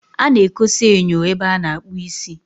A na-ekosa enyo ebe a na-akpụ isi.